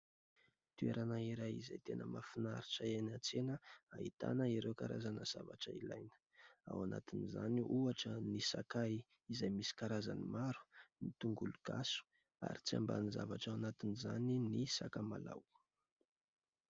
Toerana iray izay tena mahafinaritra eny an-tsena ahitana ireo karazana zavatra ilaina ao anatin'izany ohatra : ny sakay izay misy karazany maro, ny tongolo gasy ary tsy ambanin-javatra ao anatin'izany ny sakamalaho.